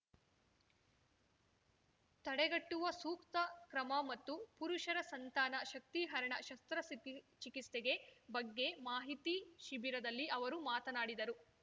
ತಡೆಗಟ್ಟುವ ಸೂಕ್ತ ಕ್ರಮ ಮತ್ತು ಪುರುಷರ ಸಂತಾನ ಶಕ್ತಿಹರಣ ಶಸ್ತ್ರಸಿ ಚಿಕಿಸ್ತೆಗೆ ಬಗ್ಗೆ ಮಾಹಿತಿ ಶಿಬಿರದಲ್ಲಿ ಅವರು ಮಾತನಾಡಿದರು